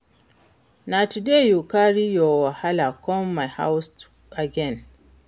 Na today you carry your wahala come my house again?